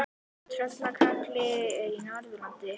Tröllaskagi er á Norðurlandi.